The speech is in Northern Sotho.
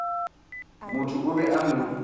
motho o be a no